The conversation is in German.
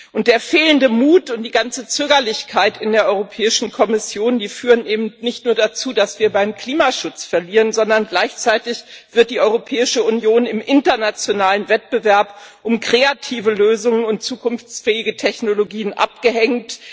Und der fehlende Mut und die ganze Zögerlichkeit in der Europäischen Kommission führen eben nicht nur dazu, dass wir beim Klimaschutz verlieren, sondern gleichzeitig wird die Europäische Union im internationalen Wettbewerb um kreative Lösungen und zukunftsfähige Technologien abgehängt.